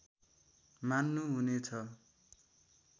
मान्नु हुने छ